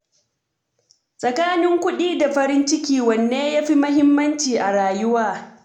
Tsakanin kuɗi da farin ciki, wane ya fi muhimmanci a rayuwa?